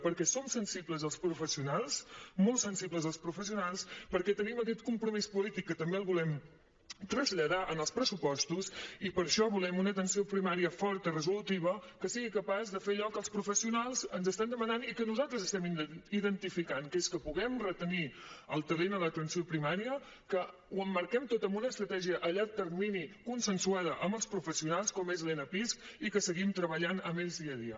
perquè som sensibles els professionals molt sensibles els professionals perquè tenim aquest compromís polític que també el volem traslladar als pressupostos i per això volem una atenció primària forta resolutiva que sigui capaç de fer allò que els professionals ens estan demanant i que nosaltres estem identificant que és que puguem retenir el talent a l’atenció primària que ho emmarquem tot amb una estratègia a llarg termini consensuada amb els professionals com és l’enapisc i que seguim treballant amb ells dia a dia